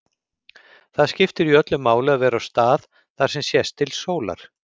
Það skiptir jú öllu máli að vera á stað þar sem sést til sólar.